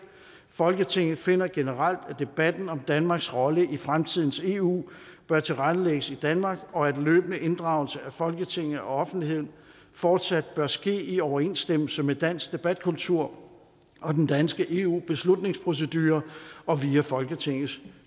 folketinget finder generelt at debatten om danmarks rolle i fremtidens eu bør tilrettelægges i danmark og at løbende inddragelse af folketinget og offentligheden fortsat bør ske i overensstemmelse med dansk debatkultur og den danske eu beslutningsprocedure og via folketingets